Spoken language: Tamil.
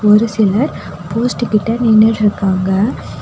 ஒரு சிலர் போஸ்ட்டு கிட்ட நின்னுட்ருக்காங்க.